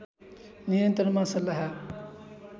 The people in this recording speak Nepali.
नियन्त्रणमा सल्लाह